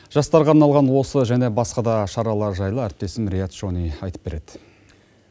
жастарға арналған осы және басқада шаралар жайлы әріптесім риат шони айтып береді